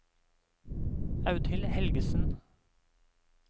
Audhild Helgesen